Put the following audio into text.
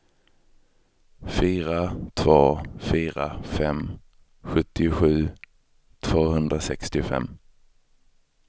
fyra två fyra fem sjuttiosju tvåhundrasextiofem